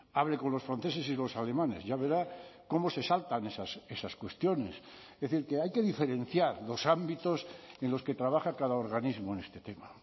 hable con los franceses y los alemanes ya verá cómo se saltan esas cuestiones es decir que hay que diferenciar los ámbitos en los que trabaja cada organismo en este tema